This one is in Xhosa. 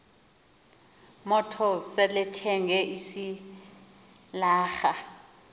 motors selethenge isilarha